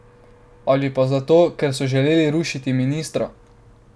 Ali pa zato, ker so želeli rušiti ministra?